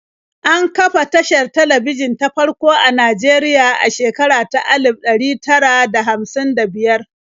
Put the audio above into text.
An kafa tashar talabijin ta farko a Najeriya a shekara ta alif ɗari tara da hamsin da biyar.